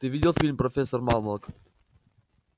ты видел фильм профессор малмок